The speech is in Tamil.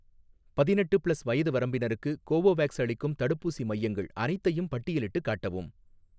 பதினெட்டு ப்ளஸ் வயது வரம்பினருக்கு கோவோவேக்ஸ் அளிக்கும் தடுப்பூசி மையங்கள் அனைத்தையும் பட்டியலிட்டுக் காட்டவும்